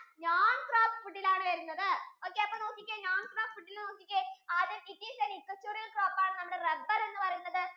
non crop food യിൽ ആണ് വരുന്നത് okay അപ്പൊ നോക്കിക്കേ non crop food യിൽ നോക്കിക്കേ ആദ്യം it is a necessary crop ആണ് നമ്മുടെ rubber എന്ന് പറയുന്നത്